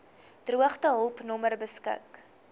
droogtehulp nommer beskik